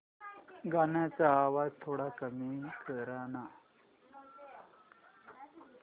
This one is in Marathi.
गाण्याचा आवाज थोडा कमी कर ना